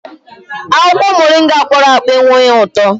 Akwụkwọ Moringa kpọrọ akpọ enweghị ụtọ